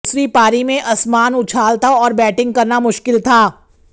दूसरी पारी में असमान उछाल था और बैटिंग करना मुश्किल था